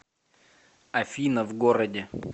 афина в городе